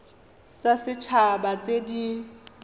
tsa set haba tse di